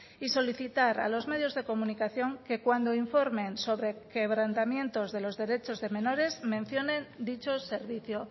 y solicitar a los medios de comunicación que cuando informen sobre quebrantamientos de los derechos de menores mencionen dicho servicio